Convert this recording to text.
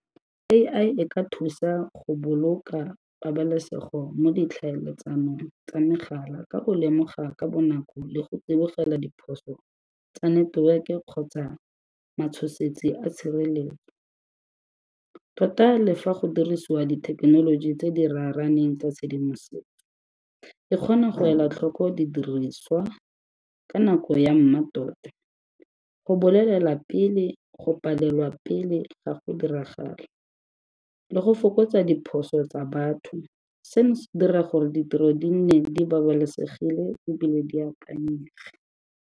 A_I e ka thusa go boloka pabalesego mo ditlhaeletsanong tsa megala ka go lemoga ka bonako le go tsibogela diphoso tsa network-e kgotsa matshosetsi a tshireletso. Tota le fa go dirisiwa dithekenoloji tse di raraneng tsa tshedimosetso, e kgona go ela tlhoko di diriswa ka nako ya mmatota go bolelela pele go palelwa pele ga go diragala le go fokotsa diphoso tsa batho. Seno se dira gore ditiro di nne di babalesegile ebile di akanyega.